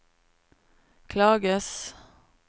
klages